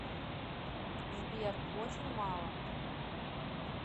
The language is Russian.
сбер очень мало